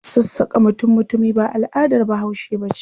Sassaƙa mutum-mutumi ba al'adar Bahaushe ba ce.